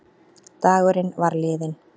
Dagurinn var liðinn.